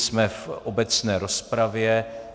Jsme v obecné rozpravě.